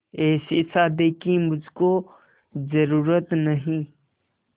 ऐसी शादी की मुझको जरूरत नहीं